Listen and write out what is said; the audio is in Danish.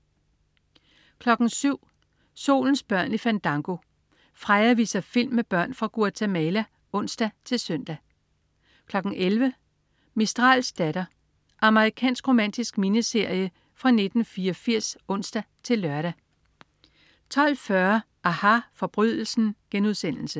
07.00 Solens børn i Fandango. Freja viser film med børn fra Guatemala (ons-søn) 11.00 Mistrals datter. Amerikansk romantisk miniserie fra 1984 (ons-lør) 12.40 aHA. Forbrydelsen*